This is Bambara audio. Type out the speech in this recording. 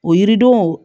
O yiridenw